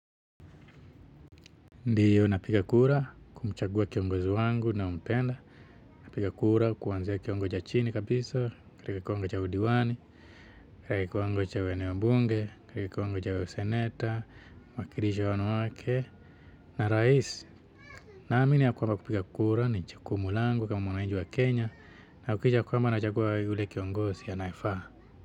Ndio napiga kura kumchagua kiongozi wangu nampenda, napiga kura kuanzia kiwango cha chini kabisa, katika kiwango udiwani, katika kiwango cha ueneo bunge, katika kiwango cha useneta, mwakilishi wa wanawake, na rais, na amini ya kwamba kupiga kura ni chukumu langu kama mwananchi wa Kenya, na hakikisha kwamba na chagua yule kiongozi anyefaa.